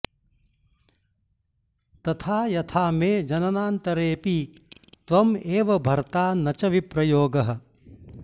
तथा यथा मे जननान्तरेऽपि त्वं एव भर्ता न च विप्रयोगः